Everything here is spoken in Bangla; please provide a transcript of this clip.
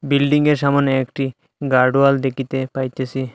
বিল্ডিংয়ের সামনে একটি গার্ড ওয়াল দেখিতে পাইতেসি।